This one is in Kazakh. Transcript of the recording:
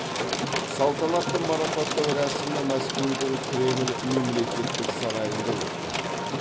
салтанатты марапаттау рәсімі мәскеудің кремль мемлекеттік сарайында өткен